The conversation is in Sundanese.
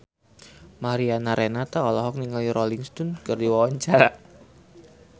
Mariana Renata olohok ningali Rolling Stone keur diwawancara